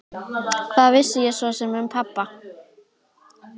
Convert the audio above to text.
Hvað vissi ég svo sem um pabba?